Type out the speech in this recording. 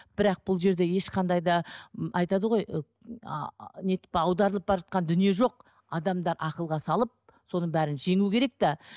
бірақ бұл жерде ешқандай да айтады ғой не етіп аударылып бара жатқан дүние жоқ адамда ақылға салып соның бәрін жеңу керек те